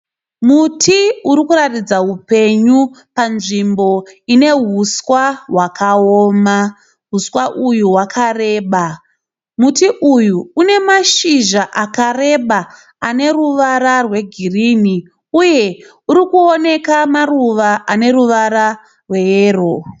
Muti urikuratidza hupenyu panzvimbo ine huswa hwakaoma. Huswa uhu hwakareba. Muti uyu une mashizha akareba ane ruwara rwe girini uye urikuoneka maruva ane ruwara rwe yero.